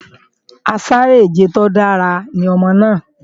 Asáré-ìje tó dára ní ọmọ náà